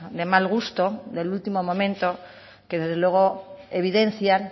de mal gusto del último momento que desde luego evidencian